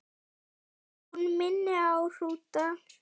Hún minni á hrúta.